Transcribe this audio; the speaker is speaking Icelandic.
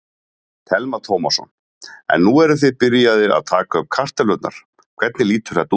Telma Tómasson: En nú eruð þið byrjaðir að taka upp kartöflurnar, hvernig lítur þetta út?